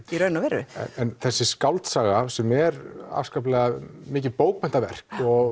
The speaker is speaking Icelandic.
þessi skáldsaga sem er mikið bókmenntaverk